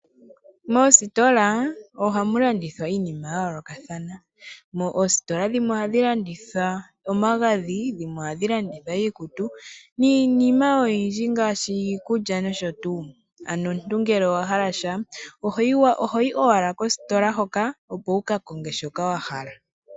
Moostola ohamu landithwa iinima yayoolokathana. Oostola dhimwe oha dhilanditha omagadhi dhimwe ohadhi landitha iikutu niinima oyindji ngaashi iikulya noshotuu. Omuntu ngele owa hala sha ohoyi owala kostola hoka opo wukakonge shoka wahala.